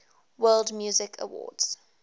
world music awards